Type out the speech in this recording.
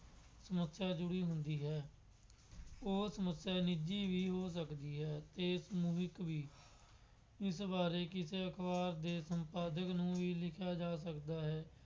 ਸਮੱਸਿਆ ਅੱਜ ਵੀ ਹੁੰਦੀ ਹੈ। ਉਹ ਸਮੱਸਿਆ ਨਿੱਜੀ ਵੀ ਹੋ ਸਕਦੀ ਹੈ ਅਤੇ ਸਮੂਹਿਕ ਵੀ, ਇਸ ਬਾਰੇ ਕਿਸੇ ਅਖਬਾਰ ਦੇ ਸੰਪਾਦਕ ਨੂੰ ਵੀ ਲਿਖਿਆ ਜਾ ਸਕਦਾ ਹੈ।